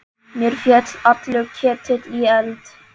Mér féll allur ketill í eld.